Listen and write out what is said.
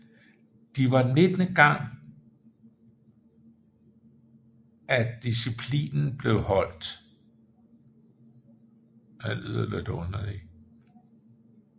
De var nittende gang at disciplinen blev afholdt